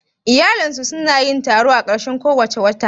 Iyalinsu su na yin taro a ƙarshen kowace shekara?